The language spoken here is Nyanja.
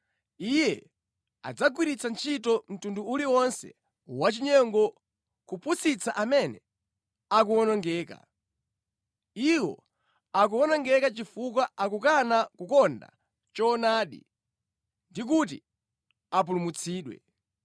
Iye adzagwiritsa ntchito mtundu uliwonse wachinyengo kupusitsa amene akuwonongeka. Iwo akuwonongeka chifukwa akukana kukonda choonadi ndi kuti apulumutsidwe.